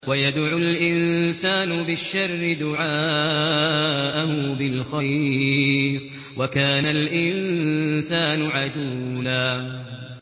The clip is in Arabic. وَيَدْعُ الْإِنسَانُ بِالشَّرِّ دُعَاءَهُ بِالْخَيْرِ ۖ وَكَانَ الْإِنسَانُ عَجُولًا